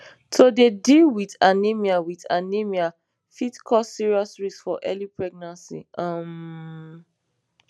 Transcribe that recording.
to dey deal wit anemia wit anemia fit cause serious risks for early pregnancy um